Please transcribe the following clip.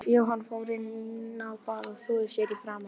Jóhann fór inn á bað og þvoði sér í framan.